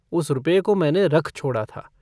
उस रुपये को मैंने रख छोड़ा था।